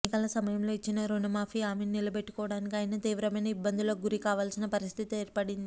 ఎన్నికల సమయంలో ఇచ్చిన రుణమాఫీ హామీని నిలబెట్టుకోవడానికి ఆయన తీవ్రమైన ఇబ్బందులకు గురి కావాల్సిన పరిస్థితి ఏర్పడింది